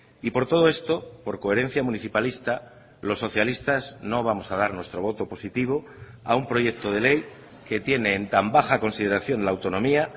y por todo esto por coherencia municipalista los socialistas no vamos a dar nuestro voto positivo a un proyecto de ley que tiene en tan baja consideración la autonomía